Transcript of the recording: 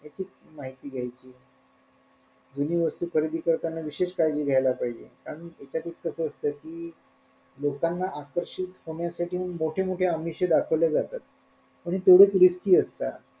ह्याची माहिती घेयची जुनी वस्तू खरेदी करताना विशेष काळजी घेयला पाहिजे कारण एखाद्यावेळेस कस असत कि लोकांना आकर्षित होण्यासाठी मोठ्या मोठ्या आमिषे दाखवले जातात म्हणजे तेवढेच risky असतात.